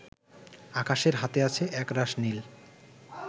আকাশের হাতে আছে একরাশ নীল